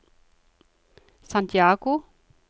Santiago